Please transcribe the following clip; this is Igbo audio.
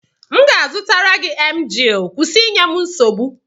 m ga-azụtara gị Emgịl kwụsị inye m nsogbu!